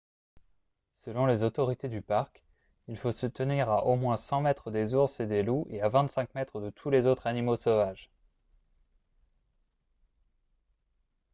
selon les autorités du parc il faut se tenir à au moins 100 mètres des ours et des loups et à 25 mètres de tous les autres animaux sauvages !